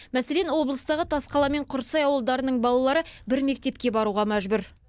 мәселен облыстағы тасқала мен құрсай ауылдарының балалары бір мектепке баруға мәжбүр